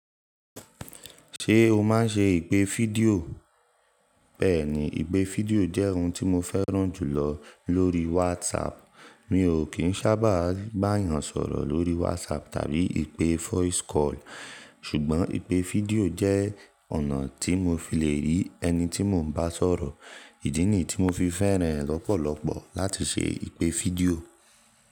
Ṣé o máa ń ṣe ìpè fídíò? Bẹ́ẹ̀ni, ìpè fídíò jẹ́ ohun tí mo fẹ́ràn jùlọ lórí WhatsApp. Mi ò kín sábàá bà yàn sọ̀rọ̀ lórí WhatsApp tàbí ìpè voice call, ṣùgbọ́n ìpè fídíò jẹ́ ọ̀nà tí mo fi le rí ẹni tí mo ń bá sọ̀rọ̀. Ìdí nì tí mo fi fẹ́ràn rẹ̀ lọ́pọ̀lọ́pọ̀ láti ṣe ìpè fídíò.